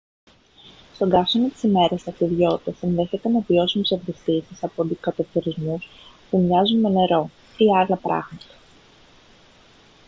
στον καύσωνα της ημέρας οι ταξιδιώτες ενδέχεται να βιώσουν ψευδαισθήσεις από αντικατοπτρισμούς που μοιάζουν με νερό ή άλλα πράγματα